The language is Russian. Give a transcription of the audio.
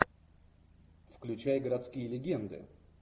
включай городские легенды